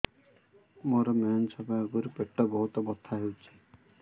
ମୋର ମେନ୍ସେସ ହବା ଆଗରୁ ପେଟ ବହୁତ ବଥା ହଉଚି